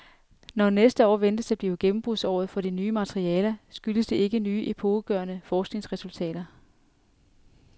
Når næste år ventes at blive gennembrudsåret for de nye materialer, skyldes det ikke nye epokegørende forskningsresultater.